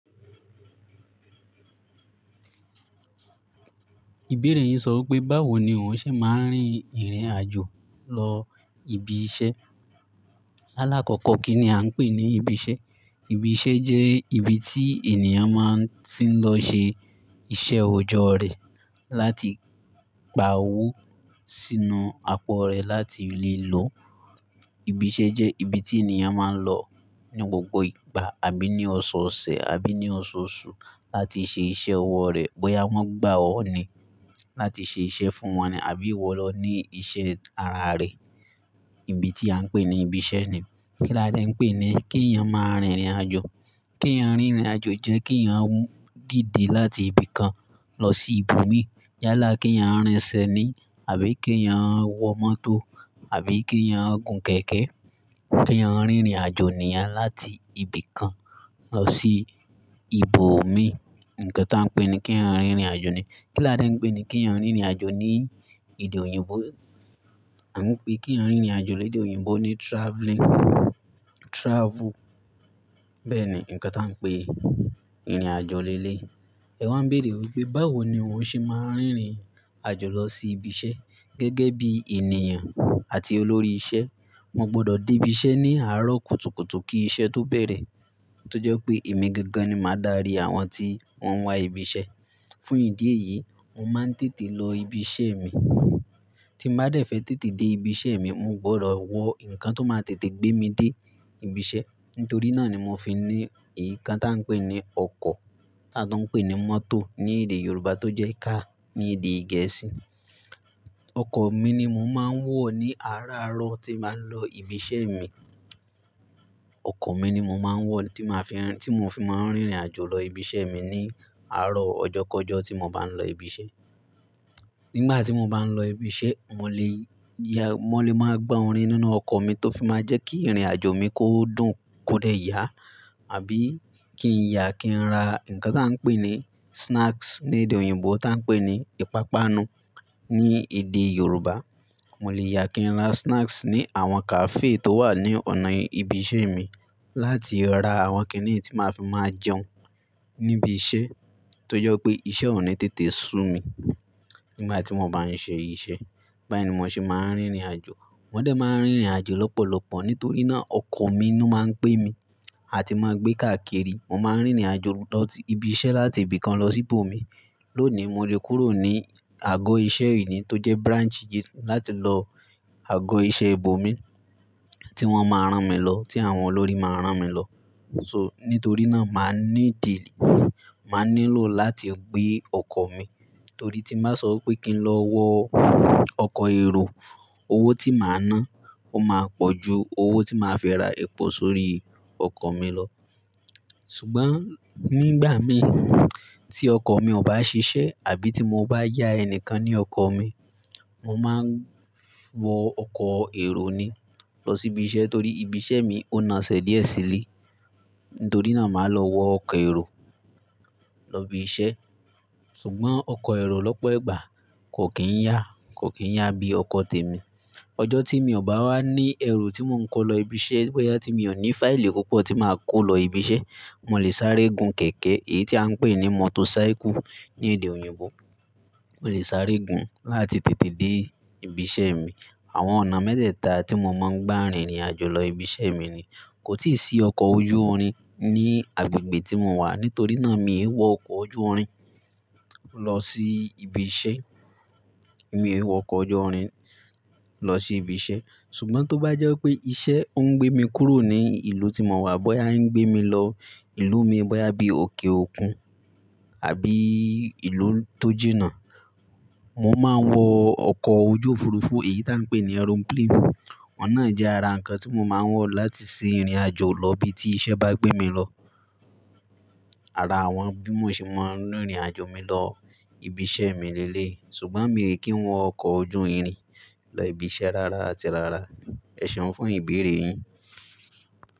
Ìbéèrè yín sọ pé, báwo ni ò ṣe máa ń rin ìrìn àjò lọ ibi iṣẹ́? Láàlákọ̀ọ̀kọ́ kí ni à ń pè ní ibi iṣẹ́? Ibi iṣẹ́ jẹ́ ibi tí ènìyàn máa tí ń lọ ṣe iṣẹ́ ọjọ́ rẹ̀ láti gba owó sínú apọ̀ rẹ̀ láti lè lo. Ibi iṣẹ́ jẹ́ ibi tí ènìyàn máa ń lọ ní gbogbo ìgbà àbí ní ọ̀sọ̀ọ̀sẹ̀ àbí ní ọ̀ṣọ̀ọ̀ṣù láti ṣe iṣẹ́ ọwọ́ rẹ̀ bóyá wọ́n gbà ọ́ ni láti ṣe iṣẹ́ fún wọn ni àbí ìwọ lọ ní iṣẹ́ ara rẹ. Ibi tí à ń pè ní ibi iṣẹ́ ni. Kí là dẹ́ ń pè ní kí ènìyàn máa rin ìrìn àjò? Kí ènìyàn rin ìrìn àjò jẹ́ kí ènìyàn díde láti ibi kan lọ sí ibòmí. Yá kí ènìyàn rìn sẹ́ni àbí kí ènìyàn wọ mọ́tò àbí kí ènìyàn gùn kẹ̀kẹ́. Kí ènìyàn rin ìrìn àjò ní à láti ibi kan lọ sí ibòmíràn. Nǹkan tí à ń pè ní kí ènìyàn rin ìrìn àjò ni. Kí là dẹ́ ń pè ní kí ènìyàn rin ìrìn àjò ní èdè òyìnbó? À ń pè kí ènìyàn rin ìrìn àjò lédè òyìnbó ní travelling, travel. Bẹ́ẹ̀ni, nǹkan tí à ń pè ìrìn àjò lélẹ̀yi. Ẹ wá béèrè wípé báwo ni òun ṣe máa ń rin ìrìn àjò lọ sí ibi iṣẹ́. Gẹ́gẹ́ bí ènìyàn àti olórí iṣẹ́, mo gbọ́dọ̀ dé ibi iṣẹ́ ní àárọ̀ kùtùkùtù kí iṣẹ́ tó bẹ̀rẹ̀ tó jẹ́ pé èmi gangan ni máa darí àwọn tí wọ́n wá ibi iṣẹ́. Fún ìdí èyí, mo máa ń tètè lọ ibi iṣẹ́ mi. Tí mo bá dẹ̀ fẹ́ tètè dé ibi iṣẹ́ mi, mo gbọ́dọ̀ wọ nǹkan tó máa tètè gbé mi dé ibi iṣẹ́. Nítorí náà ni mo fi ní èyí kan tí à ń pè ní ọkọ̀, tí a tó ń pè ní mọ́tò ní èdè Yorùbá tó jẹ́ car ní èdè Gẹ̀ẹ́sì. Ọkọ̀ mi ni mo máa ń wọ̀ ní àárọ̀ àárọ̀ tí mo bá ń lọ ibi iṣẹ́ mi. Ọkọ̀ mi ni mo máa ń wọ̀ tí mo fi máa ń rin ìrìn àjò lọ ibi iṣẹ́ mi ní àárọ̀ ọjọ́kọjọ́ tí mo bá ń lọ ibi iṣẹ́. Nígbà tí mo bá ń lọ ibi iṣẹ́, mo lè yà, mo lè máa gbo orin nínú ọkọ̀ mi tó fi máa jẹ́ kí ìrìn àjò mi kó dùn kódẹ̀ yà àbí kí n yà kí n ra nǹkan tí à ń pè ní snacks ní èdè òyìnbó tí à ń pè ní ìpápánu ní èdè Yorùbá. Mo lè yà kí n ra snacks ní àwọn cafe tó wà ní ọ̀nà ibi iṣẹ́ mi láti ra àwọn kìnnìún tí màá fi máa jẹun níbi iṣẹ́ tó jẹ́ pé iṣẹ́ ò ní tètè sú mi nígbà tí mo bá ń ṣe iṣẹ́. Bá ní mo ṣe máa ń rin ìrìn àjò. Mo dẹ́ máa ń rin ìrìn àjò lọ́pọ̀lọpọ̀ nítorí náà ọkọ̀ mi ló máa ń pé mi àti máa ń gbé káàkiri. Mo máa ń rin ìrìn àjò lọ ibi iṣẹ́ láti ibi kan lọ sí ibòmí. Lónìí mo lè kúrò ní àgọ́ iṣẹ́ ìní tó jẹ́ branch yìí láti lọ àgọ́ iṣẹ́ ibòmí tí wọ́n máa rán mi lọ, tí àwọn olórí máa rán mi lọ. So, nítorí náà màá ní dì, màá nílò láti gbé ọkọ̀ mi. Torí tí màá sọ wípé kí n lọ wọ ọkọ̀ èrò, owó tí màá ná, ó máa pọ̀ ju owó tí màá fẹ́ ra epo sórí ọkọ̀ mi lọ. Ṣùgbọ́n nígbà mi tí ọkọ̀ mi ò bá ṣiṣẹ́ àbí tí mo bá yá ẹni kan ní ọkọ̀ mi, mo máa wọ ọkọ̀ èrò ni lọ sí ibi iṣẹ́ torí ibi iṣẹ́ mi ó naṣẹ̀ díẹ̀ sílé. Nítorí náà màá lọ wọ ọkọ̀ èrò lọ ibi iṣẹ́. Ṣùgbọ́n ọkọ̀ èrò lọ́pọ̀ ìgbà kò kí ń yà, kò kí ń yà bí ọkọ̀ tèmi. Ọjọ́ tí mi ò bá wá ní ẹrù tí mò ń kó lọ ibi iṣẹ́, bóyá tí mi ò ní fáìlì púpọ̀ tí màá kó lọ ibi iṣẹ́, mo lè sáré gun kẹ̀kẹ́ èyí tí à ń pè ní motorcycle ní èdè òyìnbó. Mo lè sáré gun láti tètè dé ibi iṣẹ́ mi. Àwọn ọ̀nà mẹ́tẹ́ẹ̀ta tí mo máa ń gbá rin ìrìn àjò lọ ibi iṣẹ́ mi ni. Kò tíì sí ọkọ̀ ojú orin ní agbègbè tí mo wà, nítorí náà mi ò wọ ọkọ̀ ojú orin lọ sí ibi iṣẹ́. Mi ò wọ ọkọ̀ ojú orin lọ sí ibi iṣẹ́. Ṣùgbọ́n tó bá jẹ́ pé iṣẹ́ ń gbé mi kúrò ní ìlú tí mo wà, bóyá ń gbé mi lọ ìlú mi, bóyá bí òkè òkun àbí ìlú tó jìnà, mo máa wọ ọkọ̀ ojú òfuurufú, èyí tí à ń pè ní aeroplane. Ọ̀nà náà jẹ́ ara nǹkan tí mo máa ń wọ̀ láti ṣe ìrìn àjò lọ ibi tí iṣẹ́ bá gbé mi lọ. Ara àwọn bí mo ṣe máa ń rin ìrìn àjò mi lọ ibi iṣẹ́ mi lélẹ̀yi. Ṣùgbọ́n mi è kí ń wọ ọkọ̀ ojú irin lọ ibi iṣẹ́ rara àti rara. Ẹ ṣọ̀ fún ìbéèrè yín.